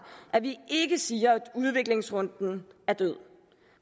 at vi ikke siger at udviklingsrunden er død